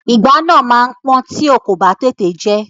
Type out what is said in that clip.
Ìgbá náà máa pọ́n tí o kò bá tètè jẹ ẹ́.